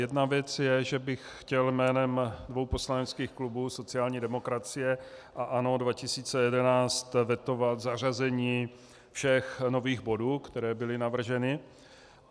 Jedna věc je, že bych chtěl jménem dvou poslaneckých klubů sociální demokracie a ANO 2011 vetovat zařazení všech nových bodů, které byly navrženy.